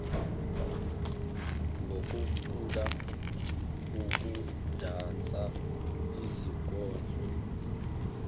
ngokucula ukudansa izikondlo